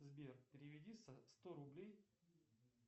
сбер переведи сто рублей